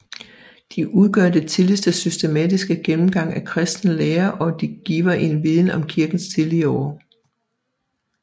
De udgør den tidligste systematiske gennemgang af kristen lære og giver en viden om kirkens tidlige år